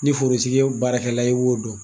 Ni forotigi ye baarakɛla ye i b'o dɔn.